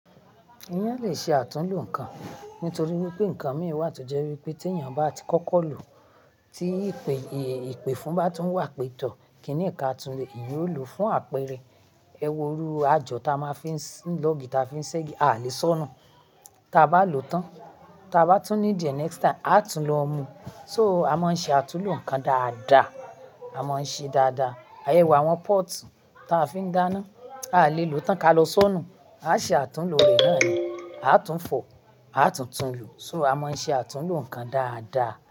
Ìyán lè ṣe àtúnlo nǹkan nítorí wípé nǹkan mì wa tó jẹ́ wípé tí èèyàn bá ti kọ́kọ́ lò, tí ìpè ìpèfùn bá tún wà pẹtọ̀, kíni ẹ̀ka tuntun yóò lò fún àpẹrẹ. Ẹ̀wọ̀ rú àjọ̀ tá a máa fí ń lọ́gi táa fi ń ṣẹ́gi a lè sọ́nu. Tá bá lò tán tábá tún need eh next time àtún lò mu. So a máa ń ṣe àtúnlo nǹkan dáadáa, a máa ń ṣe dáadáa. Àyẹ̀wò àwọn póòtù táa fi ń dáná, a lè lò ó tán ká lọ sọ́nu. A ṣe àtúnlo rẹ̀ náà ni, a tún fọ̀, a tún tún lo. So a máa ń ṣe àtúnlo nǹkan dáadáa.